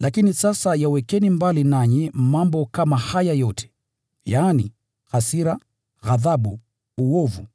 Lakini sasa yawekeni mbali nanyi mambo kama haya yote: yaani hasira, ghadhabu, uovu,